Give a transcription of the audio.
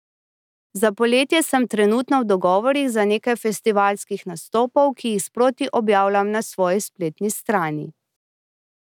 Za poletje sem trenutno v dogovorih za nekaj festivalskih nastopov, ki jih sproti objavljam na svoji spletni strani.